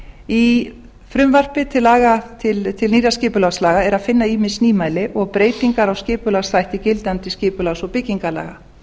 í frumvarpi til nýrra skipulagslaga er að finna ýmis nýmæli og breytingar á skipulagsþætti gildandi skipulags og byggingarlaga